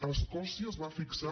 a escòcia es va fixar